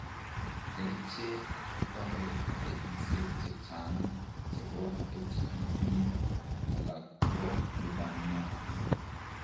Kercheek koteree taipisiek chechnang chebo HPV alak ko lubaniat